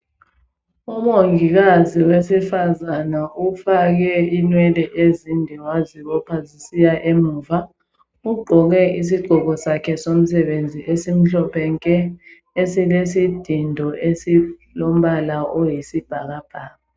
Umongikazi wesifazana ufake inwele ezinde wazibopha zisiya emuva, ugqoke isigqoko sakhe somsebenzi esimhlophe nke ,esilesidindo esilombala oyisibhakabhaka.